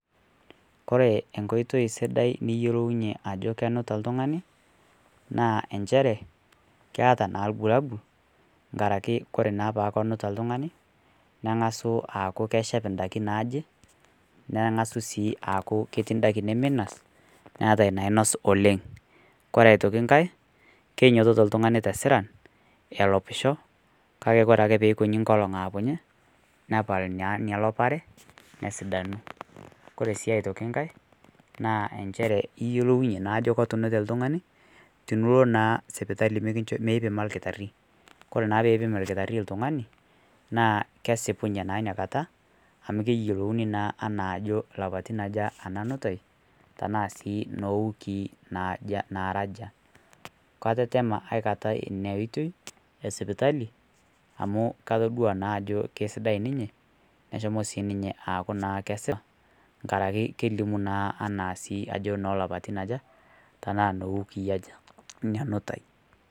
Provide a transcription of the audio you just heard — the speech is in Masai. Kore enkoitei sidai niyelou ajoo kenuta ltung'ani naa ensheree keata naa lbulabul ng;arakee kore naa pee kenutaa ltung'ani neng'asuu aaku keshep ndakii najii, neng'asuu sii aaku ketii ndakii nemeinos naatai nainos oleng' kore otoki ng'hai keinyototoo ltung'anii tesiran elopisho kakee kore akee peikinyii nkolong' aapunye nepal inia lopareee nesidanuu kore sii otoki ng'hai naa enchere iyeulounyee naa ajo ketunutee ltung'anii tiniloo naa sipitalii mikii meipimaa naa lkitarii. Kore naa peipim lkitarii ltung'anii naa kesipunyee naa inia kataa amu keyelounii naa anaa ajoo lapatin aja anaa nutai tanaa sii nowikii najaa naraa ajaa katetema aikatai inia oitei esipitalii amu katodua naa ajoo keisidai ninyee neshomoo sii ninyee aaku naa aaku naa kesipaa ng'arakee naa kelimuu naa anaa sii ajoo nolopatin ajaa tanaa nowikii ajaa inia nutai.